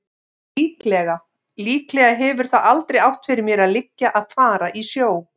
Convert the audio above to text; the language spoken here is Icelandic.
Líklega. líklega hefur það aldrei átt fyrir mér að liggja að fara í sjó.